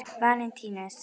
Valentínus